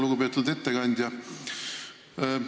Lugupeetud ettekandja!